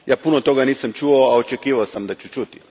Ja puno toga nisam čuo, a očekivao sam da ću čuti.